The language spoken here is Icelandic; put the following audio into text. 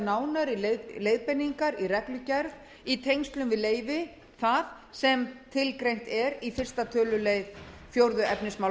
nánari leiðbeiningar í reglugerð í tengslum við leyfi það sem tilgreint er í fyrsta tölulið fjórða efnismgr